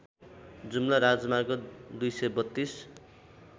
जुम्ला राजमार्ग २३२